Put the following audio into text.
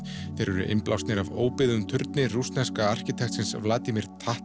þeir eru innblásnir af óbyggðum turni rússneska arkitektsins Vladimir